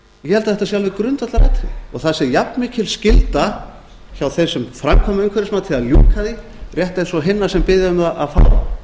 ég held að þetta sé alveg grundvallaratriði og það sé jafnmikil skylda hjá þeim sem framkvæmir umhverfismatið að ljúka því rétt eins og hinna sem biðja um að fá það